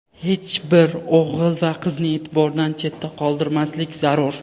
hech bir o‘g‘il va qizni e’tibordan chetda qoldirmaslik zarur.